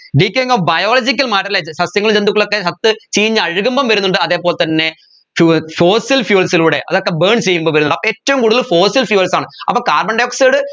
detailing of biological സസ്യങ്ങൾ ജന്തുക്കളൊക്കെ ചത്ത് ചീഞ്ഞ് അഴകുമ്പം വരുന്നുണ്ട് അതെ പോലെ തന്നെ fuel fossil fuels ലൂടെ അതൊക്കെ burn ചെയ്യുമ്പോ വരുന്നുണ്ട് ഏറ്റവും കൂടുതൽ fossil fuels ആണ് അപ്പോ carbon dioxide